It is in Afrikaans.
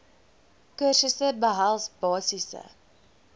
kursusse behels basiese